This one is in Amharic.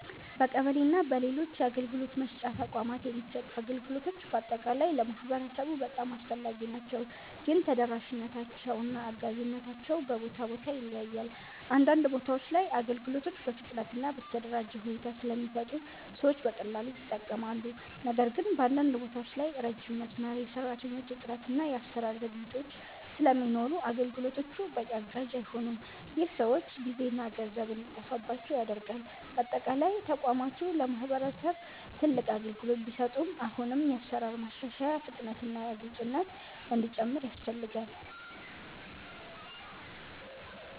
በቀበሌ እና በሌሎች የአገልግሎት መስጫ ተቋማት የሚሰጡ አገልግሎቶች በአጠቃላይ ለማህበረሰቡ በጣም አስፈላጊ ናቸው፣ ግን ተደራሽነታቸው እና አጋዥነታቸው በቦታ ቦታ ይለያያል። አንዳንድ ቦታዎች ላይ አገልግሎቶች በፍጥነት እና በተደራጀ ሁኔታ ስለሚሰጡ ሰዎች በቀላሉ ይጠቀማሉ። ነገር ግን በአንዳንድ ቦታዎች ላይ ረጅም መስመር፣ የሰራተኞች እጥረት እና የአሰራር ዘግይቶች ስለሚኖሩ አገልግሎቶቹ በቂ አጋዥ አይሆኑም። ይህ ሰዎች ጊዜና ገንዘብ እንዲጠፋባቸው ያደርጋል። በአጠቃላይ ተቋማቱ ለማህበረሰብ ትልቅ አገልግሎት ቢሰጡም አሁንም የአሰራር ማሻሻያ፣ ፍጥነት እና ግልፅነት እንዲጨምር ያስፈልጋል።